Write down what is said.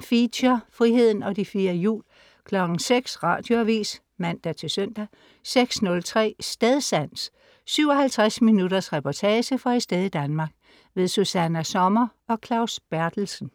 Feature: Friheden og de fire hjul 06.00 Radioavis (man-søn) 06.03 Stedsans. 57 minutters reportage fra et sted i Danmark. Susanna Sommer og Claus Berthelsen